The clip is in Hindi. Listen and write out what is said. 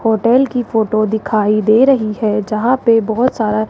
होटल की फोटो दिखाई दे रही है जहां पे बहुत सारा--